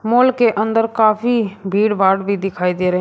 mall के अंदर काफी भीड़भाड़ भी दिखाई दे रहे--